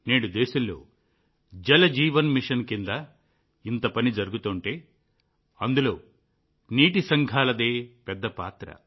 నేడు దేశంలో జల్ జీవన్ మిషన్ కింద ఇంత పని జరుగుతుంటే అందులో నీటి సంఘాలదే పెద్ద పాత్ర